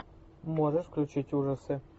можешь включить ужасы